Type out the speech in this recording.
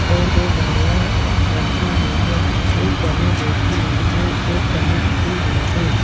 और दो डमियाँ रखी हुई हैं एक डमी बैठी हुई है एक डमी खड़ी हुई है।